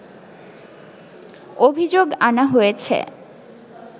অভিযোগ আনা হয়েছে